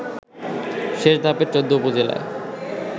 শেষ ধাপের ১৪ উপজেলার